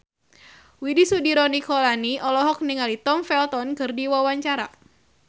Widy Soediro Nichlany olohok ningali Tom Felton keur diwawancara